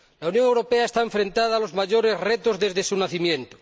La Unión Europea se enfrenta a los mayores retos desde su nacimiento.